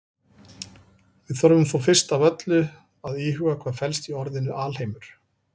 Við þurfum þó fyrst af öllu að íhuga hvað felst í orðinu alheimur.